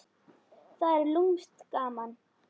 Það er lúmskt gaman.